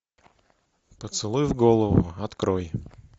поцелуй в голову открой